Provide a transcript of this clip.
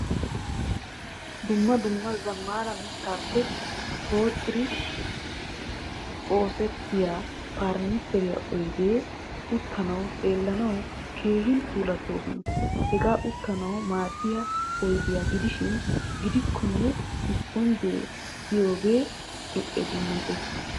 Dumma dumma zamaana mittappe poxerridi oosertiya furnichchere oydderri uttanawu xeellanawu keehin puulatosona. Hagee uttanawu maadiyaa oydiyaa gidishin a giddonkka isiponjje deiyoge a dummayees.